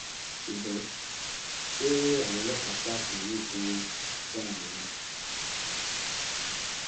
ṣùgbọn ṣé àwọn ọlọpàá sars yìí tún dáa mọ ni